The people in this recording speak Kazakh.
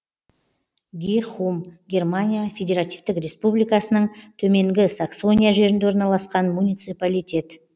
гихум германия федеративтік республикасының төменгі саксония жерінде орналасқан муниципалитет